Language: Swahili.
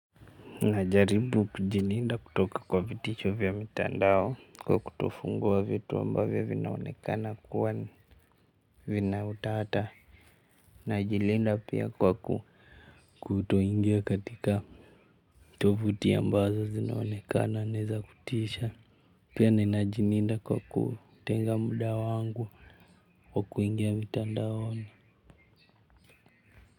Najaribu kujilinda kutoka kwa vitisho vya mitandao kwa kutofungua vitu ambavyo vinaonekana kuwa vina utata najilinda pia kwa kutoingia katika tovuti ambazo zinaonekana ni za kutisha pia ninajilinda kwa kutenga muda wangu kwa kuingia mitandaoni.